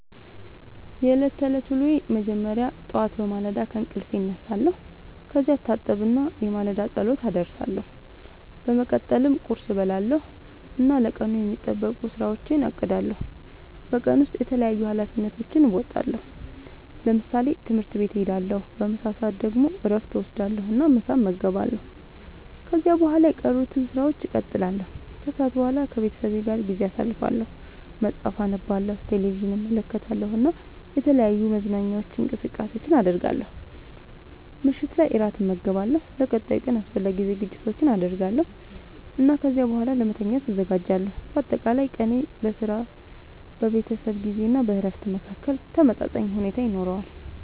የዕለት ተዕለት ዉሎየ መጀመሪያ ጠዋት በማለዳ ከእንቅልፌ እነሳለሁ። ከዚያ እታጠብና የማለዳ ጸሎት አደርሳለሁ። በመቀጠልም ቁርስ እበላለሁ እና ለቀኑ የሚጠበቁ ሥራዎቼን አቅዳለሁ። በቀን ውስጥ የተለያዩ ኃላፊነቶቼን እወጣለሁ። ለምሳሌ፦ ትምህርት ቤት እሄዳለሁ። በምሳ ሰዓት ደግሞ እረፍት እወስዳለሁ እና ምሳ እመገባለሁ። ከዚያ በኋላ የቀሩትን ሥራዎች እቀጥላለሁ። ከሰዓት በኋላ ከቤተሰቤ ጋር ጊዜ አሳልፋለሁ፣ መጽሐፍ አነባለሁ፣ ቴሌቪዥን እመለከታለሁ እና የተለያዩ መዝናኛ እንቅስቃሴዎችን አደርጋለሁ። ምሽት ላይ እራት እመገባለሁ፣ ለቀጣዩ ቀን አስፈላጊ ዝግጅቶችን አደርጋለሁ እና ከዚያ በኋላ ለመተኛት እዘጋጃለሁ። በአጠቃላይ ቀኔ በሥራ፣ በቤተሰብ ጊዜ እና በእረፍት መካከል ተመጣጣኝ ሁኔታ ይኖረዋል።